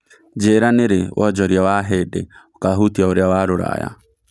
njĩira nĩ rĩ wonjoria wa ahĩndĩ ũkahutĩa ũrĩa wa rũraya